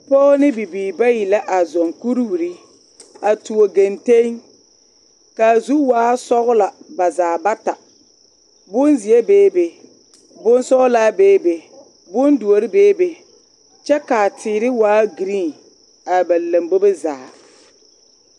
Dɔɔ ne bibiiri bayi la a zɔŋ kuriwiri a tuo genteŋ k'a zu waa sɔgelɔ ba zaa bata, bonzeɛ beebe, bonsɔgelaa beebe, bondoɔre beebe, kyɛ k'a teere waa giriin a ba lambobo zaa.